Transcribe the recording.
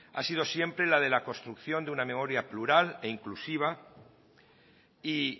ha sido siempre la de la construcción de una memoria plural e inclusiva y